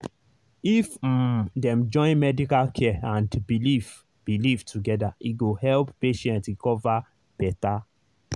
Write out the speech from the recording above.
if um dem join medical care and belief belief together e go help patient recover better.